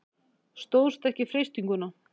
Stóðst ekki freistinguna.